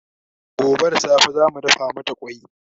gobe da safe zamu dafa mata kwai